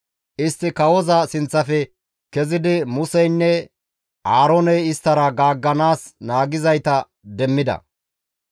Istti kawoza sinththafe kezidi Museynne Aarooney isttara gaagganaas naagizayta demmida.